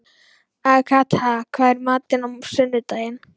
Agatha, hvað er í matinn á sunnudaginn?